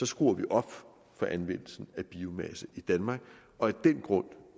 skruer vi op for anvendelsen af biomasse i danmark og af den grund